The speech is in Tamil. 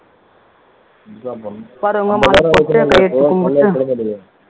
வருகிறவங்க மாலை போட்டுட்டு கையெடுத்து கும்பிட்டுட்டு